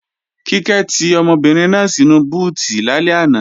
Kíkẹ́ ti ọmọbìnrin náà sínu búùtì lálẹ́ àná